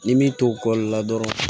Ni min to kɔli la dɔrɔn